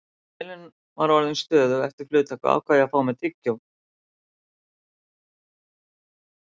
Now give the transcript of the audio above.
Þegar vélin var orðin stöðug eftir flugtak ákvað ég að fá mér tyggjó.